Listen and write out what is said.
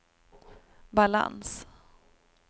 balans